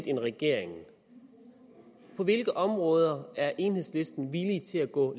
end regeringen på hvilke områder er enhedslisten villig til at gå